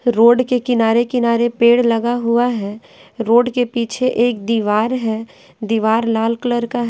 road के किनारे-किनारे पेड़ लगा हुआ है रोड के पीछे एक दीवार है दीवार लाल कलर का--